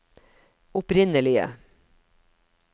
opprinnelige